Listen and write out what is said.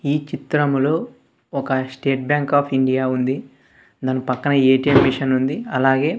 ఈ చిత్రములో ఒక స్టేట్ బ్యాంక్ ఆఫ్ ఇండియా ఉంది దాన్ పక్కనే ఏ_టీ_ఎం మిషనుంది అలాగే--